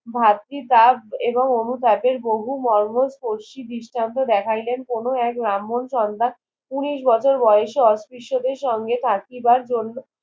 ভাত্রিতাপ এবং অনুতাপের বহু মর্ম প্রশি দৃষ্টান্ত দেখাইলেন কোন এক ব্রাম্হন সন্তান উনিশ বছর বয়েসে অস্পৃশ্যদের সঙ্গে থাকিবার জন্য